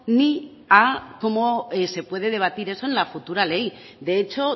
ni a cómo se puede debatir eso en la futura ley de hecho